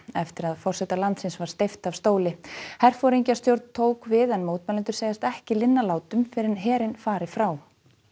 eftir að forseta landsins var steypt af stóli tók við en mótmælendur segjast ekki linna látum fyrr en herinn fari frá